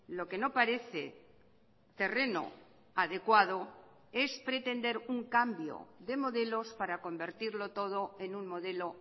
lo que no parece terreno adecuado es pretender un cambio de modelos para convertirlo todo en un modelo